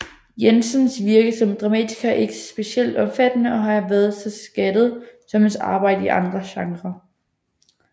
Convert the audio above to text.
Jensens virke som dramatiker er ikke specielt omfattende og har ikke været så skattet som hans arbejde i andre genre